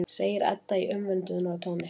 segir Edda í umvöndunartóni.